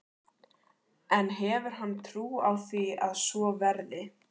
En hefur hann trú á því að svo verði?